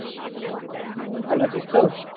হম ভালো আছিস তো?